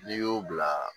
N'i y'o bila